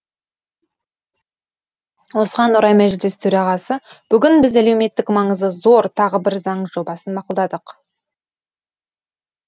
осыған орай мәжіліс төрағасы бүгін біз әлеуметтік маңызы зор тағы бір заң жобасын мақұлдадық